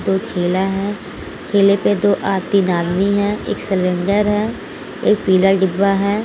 एक ठेला है ठेला पे दो तीन आदमी है एक सिलेंडर है एक पिला डिब्बा है।